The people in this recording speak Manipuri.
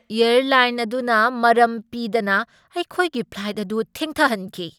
ꯑꯦꯔꯂꯥꯏꯟ ꯑꯗꯨꯅ ꯃꯔꯝ ꯄꯤꯗꯅ ꯑꯩꯈꯣꯏꯒꯤ ꯐ꯭ꯂꯥꯏꯠ ꯑꯗꯨ ꯊꯦꯡꯊꯍꯟꯈꯤ ꯫